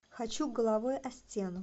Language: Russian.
хочу головой о стену